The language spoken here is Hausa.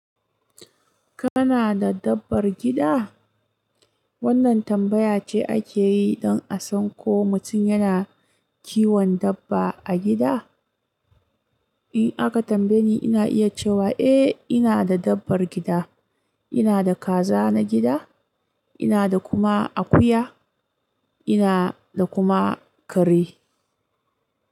Kana da dabbar gida? Wannan tambaya ce ake yi don a san ko mutum yana kiwon dabba a gida. In aka tambaye ni, ina iya cewa eh, ina da dabbar gida. Ina da kaza na gida, ina da kuma akuya, ina da kuma kare.